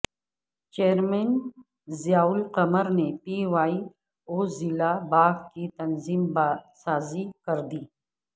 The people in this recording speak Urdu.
چیئرمین ضیا القمر نے پی وائی او ضلع باغ کی تنظیم سازی کر دی